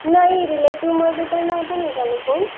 नाही रिलेटिव्हमध्ये तर नव्हतं निघालं कोण.